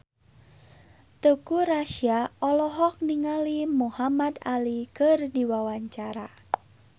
Teuku Rassya olohok ningali Muhamad Ali keur diwawancara